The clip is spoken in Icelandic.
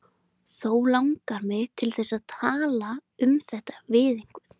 Þó langar mig til þess að tala um þetta við einhvern.